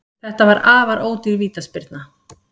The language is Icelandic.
Þetta var afar ódýr vítaspyrna